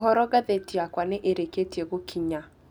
ũhoro ngathĩti yakwa nĩ ĩrĩkĩtie gũkinya